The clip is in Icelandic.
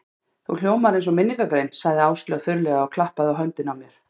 Þú hljómar eins og minningargrein sagði Áslaug þurrlega og klappaði á höndina á mér.